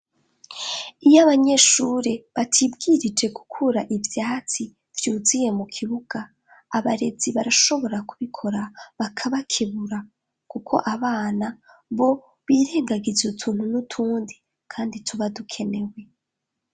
Iyo abanyeshuri batibwirije gukura ivyatsi vyuzuye mu kibuga abarezi barashobora kubikora bakabakebura kuko abana bo birengagiza utuntu n'utundi kandi tuba dukenewe.